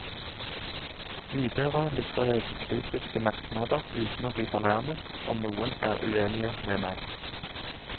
Videre lytter jeg til kritiske merknader uten å bli fornærmet om noen er uenige med meg.